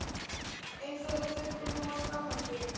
eins og þú þurfir nú að skammast þín!